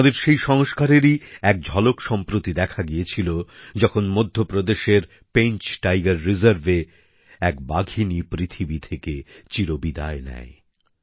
আমাদের সেই সংস্কারেরই এক ঝলক সম্প্রতি দেখা গিয়েছিল যখন মধ্যপ্রদেশের পাঞ্চ ব্যাঘ্র প্রকল্পে এক বাঘিনী পৃথিবী থেকে চির বিদায় নেয়